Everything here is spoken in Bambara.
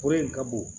Kɔrɔ in ka bon